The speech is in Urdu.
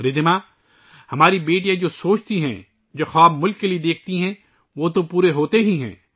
رِدھیما، ہماری بیٹیاں جو بھی سوچتی ہیں، جو خواب وہ ملک کے لئے دیکھتی ہیں، وہ تو پورے ہوتے ہی ہیں